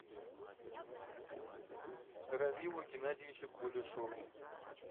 равилу геннадьевичу кулешову